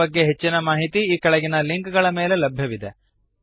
ಇದರ ಬಗ್ಗೆ ಹೆಚ್ಚಿನ ಮಾಹಿತಿ ಈ ಕೆಳಗಿನ ಲಿಂಕ್ ಗಳ ಮೇಲೆ ಲಭ್ಯವಿದೆ